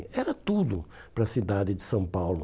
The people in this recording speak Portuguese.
Era tudo para a cidade de São Paulo.